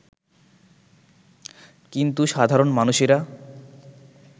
কিন্তু সাধারণ মানুষেরা